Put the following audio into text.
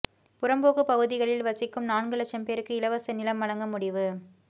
புறம்போக்கு பகுதிகளில் வசிக்கும் நான்கு லட்சம் பேருக்கு இலவச நிலம் வழங்க முடிவு